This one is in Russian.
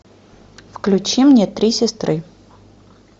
включи мне три сестры